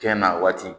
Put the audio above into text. Jɛn na waati